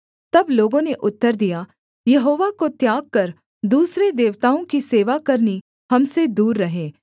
तब लोगों ने उत्तर दिया यहोवा को त्याग कर दूसरे देवताओं की सेवा करनी हम से दूर रहे